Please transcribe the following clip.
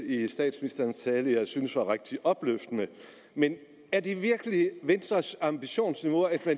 i statsministerens tale jeg syntes var rigtig opløftende men er det virkelig venstres ambitionsniveau at